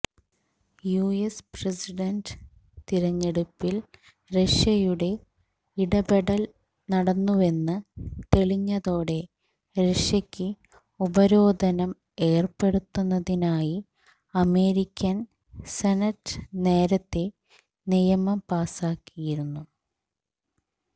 US president തിരഞ്ഞെടുപ്പില് റഷ്യയുടെ ഇടപെടല് നടന്നുവെന്ന് തെളിഞ്ഞതോടെ റഷ്യയ്ക്ക് ഉപരോധനം ഏര്പ്പെടുത്തുന്നതിനായി അമേരിക്കന് സെനറ്റ് നേരത്തെ നിയമം പാസാക്കിയിരുന്നു